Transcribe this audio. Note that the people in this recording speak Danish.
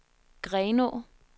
Grenaa